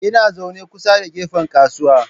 Ina zaune kusa da gefen kasuwa.